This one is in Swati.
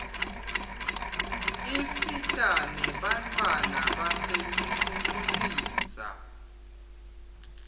isita nenbantfwana basetinkitucisa